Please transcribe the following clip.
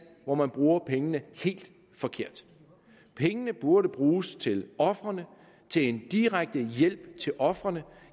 hvor man bruger pengene helt forkert pengene burde bruges til ofrene til en direkte hjælp til ofrene